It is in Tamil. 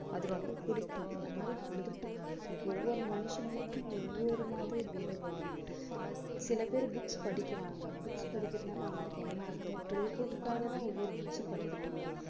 அது ரொம்ப பிடிக்கும். இந்த மாதிரி பொழுதுபோக்கு, ஒவ்வொரு மனுஷங்களுக்கும் ஒவ்வொரு மாதிரி வேறுபடும். சில பேர் books படிக்கிறாங்க. book படிக்கிறதுனால அவங்களுக்கு என்ன ஆகுதோ பொழுதுபோக்குக்காகதான், ஒவ்வொரு books ம் படிக்கிறாங்க